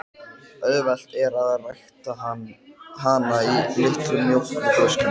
Auðvelt er að rækta hana í litlum mjólkurflöskum.